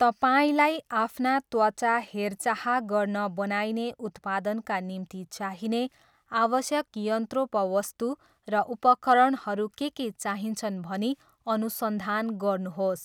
तपाईँलाई आफ्ना त्वचा हेरचाह गर्न बनाइने उत्पादनका निम्ति चाहिने आवश्यक यन्त्रोपवस्तु र उपकरणहरू के के चाहिन्छन् भनी अनुसन्धान गर्नुहोस्।